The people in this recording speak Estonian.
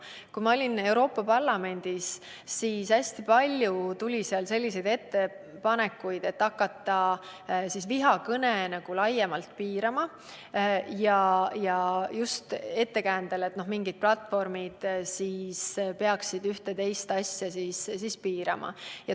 Kui ma olin Euroopa Parlamendis, siis tehti seal hästi palju selliseid ettepanekuid, et hakkame vihakõne laiemalt piirama, ja just sel ettekäändel, et mingid platvormid peaksid üht või teist asja piirama.